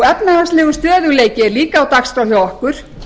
efnahagslegur stöðugleiki er líka á dagskrá hjá okkur